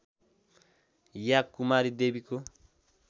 या कुमारी देवीको